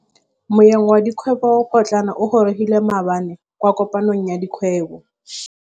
Moêng wa dikgwêbô pôtlana o gorogile maabane kwa kopanong ya dikgwêbô.